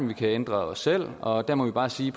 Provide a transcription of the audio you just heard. vi kan ændre os selv og der må vi bare sige